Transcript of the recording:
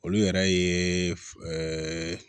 Olu yɛrɛ ye